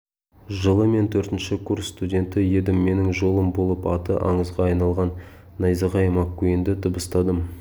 жылы мен төртінші курс студенті едім менің жолым болып аты аңызға айналған найзағай маккуинді дыбыстадым